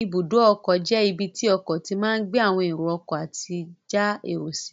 Ibùdó ọkọ̀ jẹ́ ibi tí ọkọ̀ tí máa gbé àwọn èrò ọkọ̀ àti já èrò sí